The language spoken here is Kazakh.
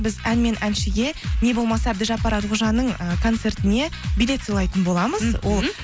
біз ән мен әншіге не болмаса әбдіжаппар әлқожаның ы концертіне билет сыйлайтын боламыз мхм